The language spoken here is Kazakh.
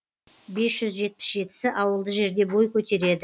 бес жүз жетпіс жетісі ауылды жерде бой көтереді